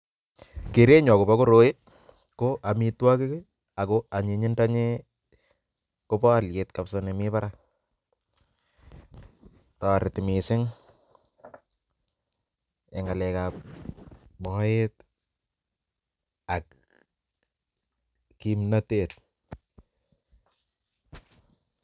Kerenyun akobo koroi ko omitwokik kii ako onyinyindo nyin kobo oliet kabisa nemii barak toreti missing en ngalek ab moet ak kipnotet.